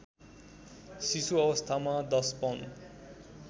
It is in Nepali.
शिशुअवस्थामा १० पाउन्ड